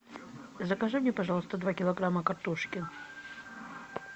закажи мне пожалуйста два килограмма картошки